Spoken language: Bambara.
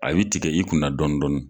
A b'i tigɛ i kun na dɔnin dɔnin